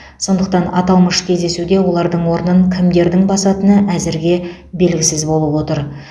сондықтан аталмыш кездесуде олардың орнын кімдердің басатыны әзірге белгісіз болып отыр